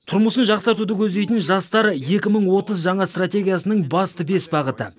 тұрмысын жақсартуды көздейтін жастар екі мың отыз жаңа стратегиясының басты бес бағыты